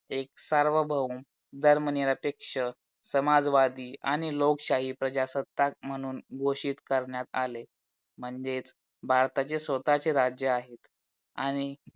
एक सार्वभौम, धर्मनिरपेक्ष, समाजवादी आणि लोकशाही प्रजासत्तात म्हणून घोषित कारणात आले म्हणजेच भारताचे स्वतःचे राज्य आहे आणि